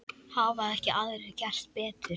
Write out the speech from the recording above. Hafa ekki aðrir gert betur.